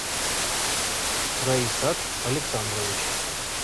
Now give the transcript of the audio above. райсат александрович